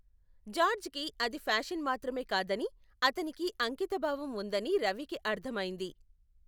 జార్జ్కి అది ఫ్యాషన్ మాత్రమే కాదని, అతనికి అంకితభావం ఉందని రవికి అర్థమైంది.